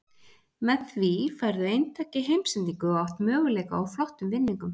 Með því færðu eintak í heimsendingu og átt möguleika á flottum vinningum.